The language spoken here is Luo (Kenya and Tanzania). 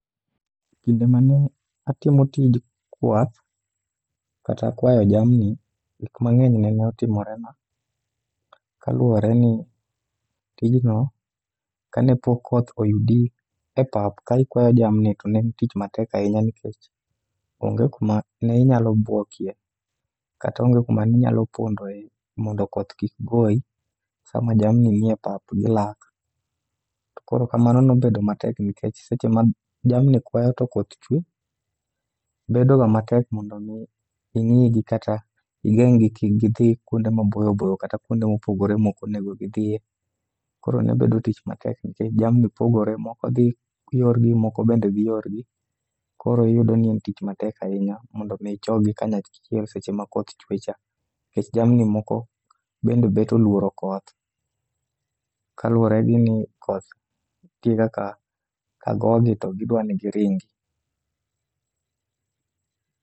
Kinde mane atimo tij kwath kata kwayo jamni, gik mang'eny nene otimorena kaluwore ni tijno kane pok koth oyudi e pap ka ikwayo jamni to en tich matek ahinya. Nikech onge kuma ne inyalo bwokie, kata onge kuma ninyalo pondoe mondo koth kik goyi sama jamni nie pap gilak. To koro kamano nobedo matek nikech seche ma jamni kwayo to koth chwe, bedo ga matek mondo mi ing'i gi kata igeng' gi kik gidhi kuonde maboyoboyo kata kuonde mopogore mokonego gidhiye. Koro nebedo tich matek nikech jamni pogore moko dhi yorgi moko bende dhi yorgi. Koro iyudo ni en tich matek ahinya mondo mi ichokgi kanyachiel seche ma koth chwe cha. Nikech jamni moko bende bet olworo koth, kaluwore gi ni koth nitie kaka ka gogi to gidwa ni giringi.